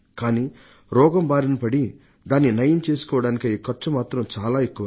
కానీ రోగం బారినపడి దానిని నయం చేసుకోవడానికయ్యే ఖర్చు మాత్రం చాలా ఎక్కువ